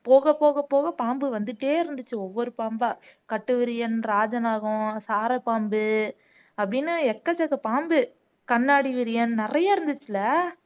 போக போக போக பாம்பு வந்துட்டே இருந்துச்சு ஒவ்வொரு பாம்பா கட்டுவிரியன், ராஜநாகம், சாரப்பாம்பு அப்படின்னு எக்கச்சக்க பாம்பு கண்ணாடி விரியன் நிறைய இருந்துச்சுல்ல